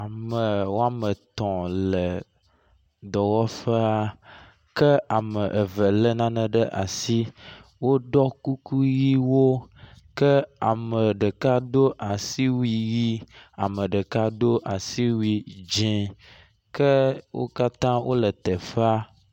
ame wɔametɔ̃ le dɔwɔƒea ke ame eve le nane ɖe asi wó ɖɔ kuku yiwo ke ame ɖeka dó asiwui yi ame ɖeka dó asiwui dzĩ ke wókatã wóle teƒaa